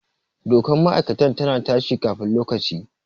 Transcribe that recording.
Dokar ma'aikatar ta na ta shi kafin lokaci